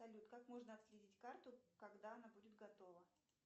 салют как можно отследить карту когда она будет готова